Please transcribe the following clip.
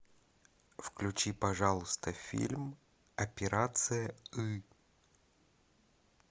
включи пожалуйста фильм операция ы